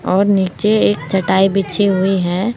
और नीचे एक चटाई बिछी हुई है।